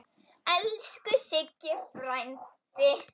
Elsku Siggi frændi.